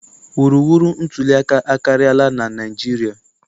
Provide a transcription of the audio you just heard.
Wuruwuru ntuliaka akarịala na Naịjirịa.